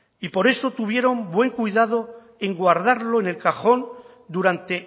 y por eso tuvieron buen cuidado en guardarlo en el cajón durante